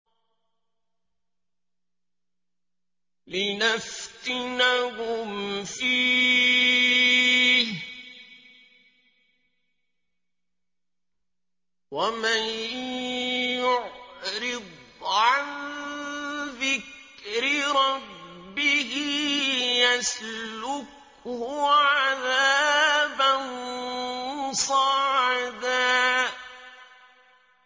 لِّنَفْتِنَهُمْ فِيهِ ۚ وَمَن يُعْرِضْ عَن ذِكْرِ رَبِّهِ يَسْلُكْهُ عَذَابًا صَعَدًا